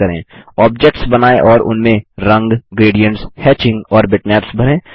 objects बनाएँ और उनमें रंग ग्रेडियन्ट्स हेचिंग और बिटमैप्स भरें